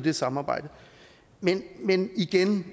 det samarbejde men igen